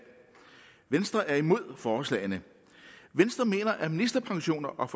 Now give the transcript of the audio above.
venstre er imod forslagene venstre mener at ministerpensioner og